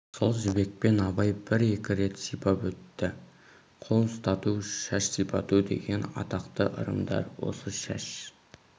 сол жібекпен абай бір-екі рет сипап өтті қол ұстату шаш сипату деген атақты ырымдар осы шаш